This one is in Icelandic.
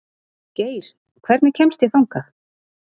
Geir, hvernig kemst ég þangað?